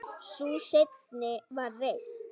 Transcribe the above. Sú seinni var reist